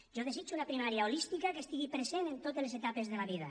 jo desitjo una primària holística que estigui present en totes les etapes de la vida